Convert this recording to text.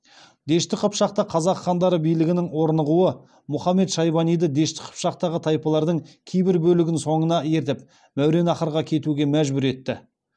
дешті қыпшақта қазақ хандары билігінің орнығуы мұхаммед шайбаниды дешті қыпшақтағы тайпалардың кейбір бөлігін соңына ертіп мәуереннахрға кетуге мәжбүр етті